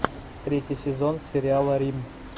третий сезон сериала рим